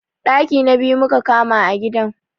Ɗaki na biyu muka kama a gidan